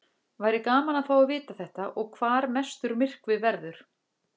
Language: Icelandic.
Væri gaman að fá að vita þetta og hvar mestur myrkvi verður.